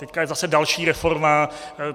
Teď je zase další reforma.